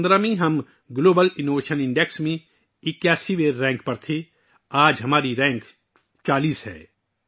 2015 میں ہم global innovation index میں 81 ویں نمبر پر تھے آج ہمارا رینک 40 واں ہے